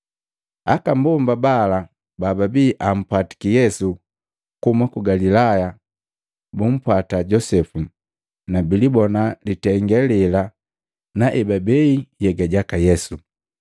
Aka mbomba bala bababii ampwatiki Yesu kuhuma ku Galilaya bumpwata Josepu, na bilibona litenge lela na ebabei nhyega jaka Yesu.